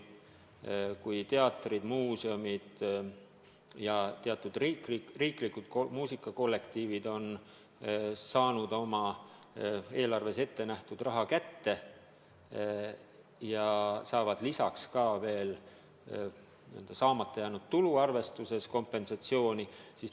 Teatrid, muuseumid ja teatud riiklikud muusikakollektiivid on oma eelarves ettenähtud raha kätte saanud ja saavad lisaks saamata jäänud tulu järgi arvestatud kompensatsiooni.